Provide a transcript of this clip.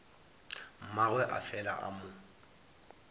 mmagwe a fela a mo